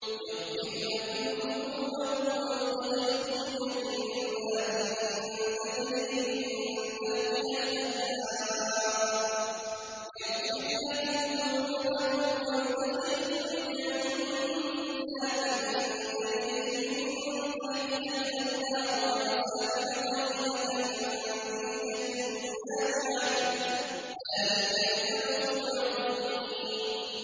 يَغْفِرْ لَكُمْ ذُنُوبَكُمْ وَيُدْخِلْكُمْ جَنَّاتٍ تَجْرِي مِن تَحْتِهَا الْأَنْهَارُ وَمَسَاكِنَ طَيِّبَةً فِي جَنَّاتِ عَدْنٍ ۚ ذَٰلِكَ الْفَوْزُ الْعَظِيمُ